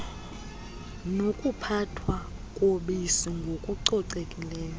nokuphathwa kobisi ngokucocekileyo